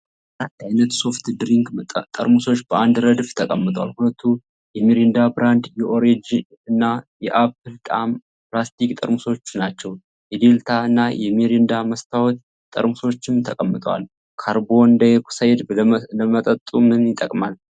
አራት ዓይነት ሶፍት ድሪንክ ጠርሙሶች በአንድ ረድፍ ተቀምጠዋል። ሁለቱ የሚሪንዳ ብራንድ የኦሬንጅ እና የአፕል ጣዕም ፕላስቲክ ጠርሙሶች ናቸው። የዴልታ እና የሚሪንዳ መስታወት ጠርሙሶችም ተቀምጠዋል። ካርቦን ዳይኦክሳይድ ለመጠጡ ምን ይጠቅማል?